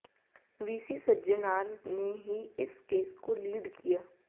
VC Sajjanar ने ही इस केस को लीड किया